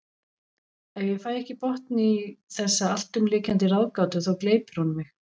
Ef ég fæ ekki botn í þessa alltumlykjandi ráðgátu þá gleypir hún mig.